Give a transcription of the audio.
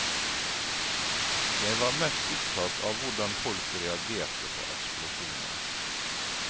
Jeg var mest opptatt av hvordan folk reagerte på eksplosjonen.